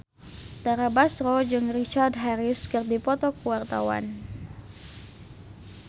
Tara Basro jeung Richard Harris keur dipoto ku wartawan